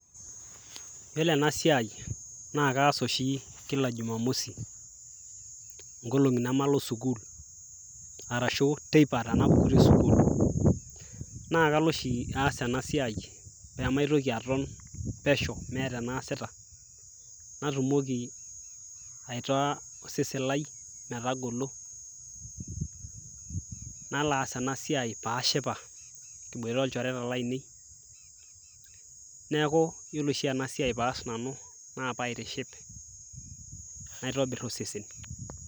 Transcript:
yiolo ena siai naa kaas oshi kila jumamosi nkolong'i nemalo sukul arashu teipa tenalo sukul naa kalo oshi aas ena siai pemaitoki aton pesho meeta enaasita natumoki aitaa osesen lai metagolo nalo aas ena siai paashipa kiboita olchoreta lainei neeku yiolo oshi ena siai paas nanu naa paitiship naitobirr osesen.